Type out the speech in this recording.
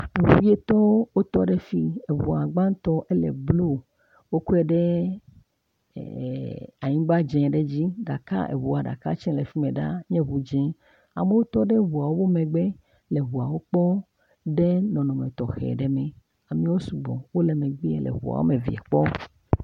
Ŋu wuiatɔ wotɔ ɖe fim. Eŋua gbãtɔ ele blu woklɔe ɖe e e anyigba dzi aɖe dzi gakea eŋua ɖeka tse le fi mi ɖa nye ŋu dzi. Amewo tɔ ɖe ŋuawo megbe le ŋuawo kpɔm ɖe nɔnɔme tɔxɛ aɖe me. Amewo sugbɔ wole megbe le eŋua wɔme evea kpɔm.